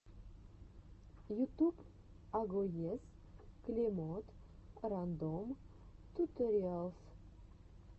ютуб агоез клемод рандом туториалс